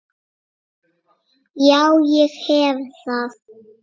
Já, ég hef það.